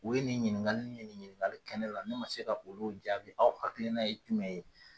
O ye nin ɲininkakali ye ni ɲininkakali kɛnɛ la ne ma se ka olu jaabi, aw hakili n'a ye jumɛn ye.